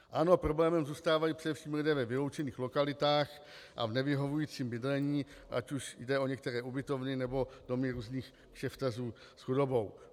Ano, problémem zůstávají především lidé ve vyloučených lokalitách a v nevyhovujícím bydlení, ať už jde o některé ubytovny, nebo domy různých kšeftařů s chudobou.